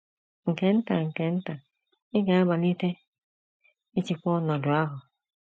Nke nta nke nta, ị ga - amalite ịchịkwa ọnọdụ ahụ.